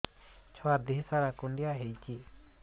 ଛୁଆର୍ ଦିହ ସାରା କୁଣ୍ଡିଆ ହେଇଚି